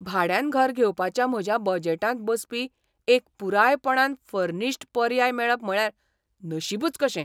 भाड्यान घर घेवपाच्या म्हज्या बजेटांत बसपी एक पुरायपणान फर्नीश्ड पर्याय मेळप म्हळ्यार नशिबच कशें!